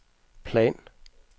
plan